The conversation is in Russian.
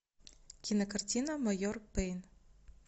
кинокартина майор пейн